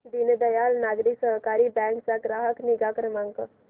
Deendayal Nagari Sahakari bank चा ग्राहक निगा क्रमांक